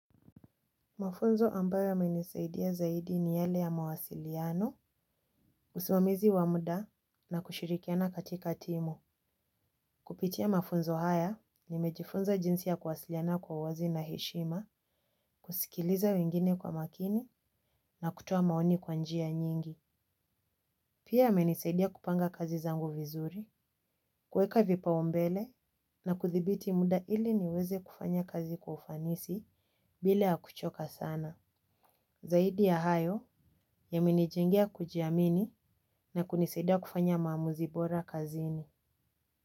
Mafunzo ambayo yamenisaidia zaidi ni yale ya mawasiliano, usimamizi wa muda na kushirikiana katika timu. Kupitia mafunzo haya ni mejifunza jinsi ya kuwasiliana kwa uwazi na heshima, kusikiliza wengine kwa makini na kutoa maoni kwa njia nyingi. Pia yamenisaidia kupanga kazi zangu vizuri, kuweka vipaumbele na kuthibiti muda ili niweze kufanya kazi kwa ufanisi bila ya kuchoka sana. Zaidi ya hayo yamenijengea kujiamini na kunisaida kufanya maamuzi bora kazini.